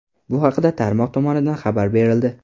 Bu haqda tarmoq tomonidan xabar berildi .